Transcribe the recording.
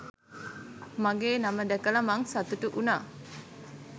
මගෙ නම දැකල මං සතුටු උනා